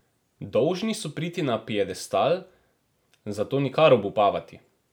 Dolžni so priti na piedestal, zato nikar obupavati!